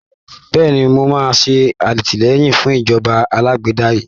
Bẹ́ẹ̀ni, mo máa ṣe àtìlẹyìn fún ìjọba alágbádá yìí